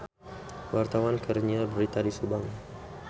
Wartawan keur nyiar berita di Subang